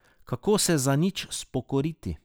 Kako se za nič spokoriti?